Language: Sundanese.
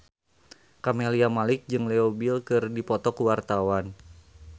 Camelia Malik jeung Leo Bill keur dipoto ku wartawan